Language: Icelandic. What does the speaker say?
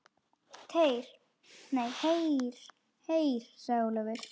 Heyr, heyr sagði Ólafur.